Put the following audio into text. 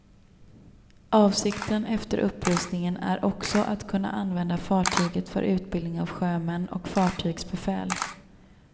Avsikten efter upprustningen är också att kunna använda fartyget för utbildning av sjömän och fartygsbefäl.